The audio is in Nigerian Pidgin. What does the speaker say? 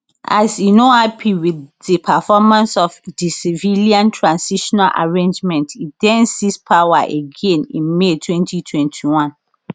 as e no happy wit di performance of di civilian transitional arrangement e den seize power again in may 2021